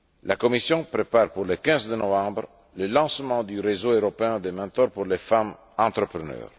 La Commission prépare, pour le 15 novembre, le lancement du réseau européen de mentors pour les femmes entrepreneurs.